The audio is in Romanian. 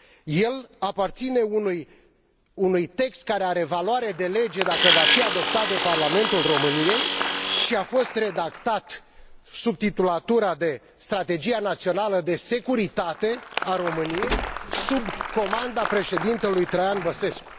El aparține unui text care are valoare de lege, dacă va fi adoptat de Parlamentul României și a fost redactat sub titulatura de Strategia națională de securitate a României sub comanda președintelui Traian Băsescu.